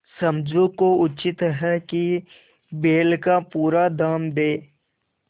समझू को उचित है कि बैल का पूरा दाम दें